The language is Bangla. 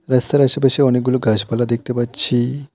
রাস্তার আশেপাশে অনেকগুলো গাছপালা দেখতে পাচ্ছি।